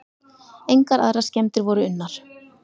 Engar aðrar skemmdir voru unnar.